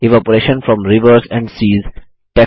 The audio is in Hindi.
evaporation from rivers and cis